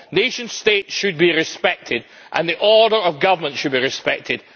Nation states should be respected and the order of government should be respected.